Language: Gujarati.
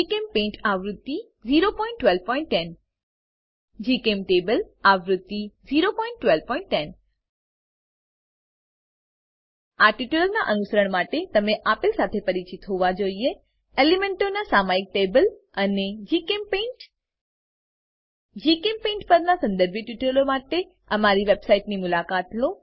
જીચેમ્પેઇન્ટ આવૃત્તિ 01210 જીચેમ્ટેબલ આવૃત્તિ 01210 આ ટ્યુટોરીયલનાં અનુસરણ માટે તમે આપેલ સાથે પરિચિત હોવા જોઈએ એલીમેન્ટોનાં સામયિક ટેબલ અને જીચેમ્પેઇન્ટ જીચેમ્પેઇન્ટ પરનાં સંદર્ભિત ટ્યુટોરીયલો માટે અમારી વેબસાઈટની મુલાકાત લો